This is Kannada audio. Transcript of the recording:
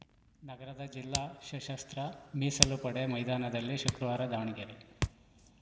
ನಗರದ ಜಿಲ್ಲಾ ಸಶಸ್ತ್ರ ಮೀಸಲು ಪಡೆ ಮೈದಾನದಲ್ಲಿ ಶುಕ್ರವಾರ ದಾವಣಗೆರೆ